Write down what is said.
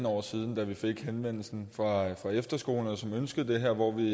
år siden da vi fik henvendelsen fra efterskolerne som ønskede det her og hvor vi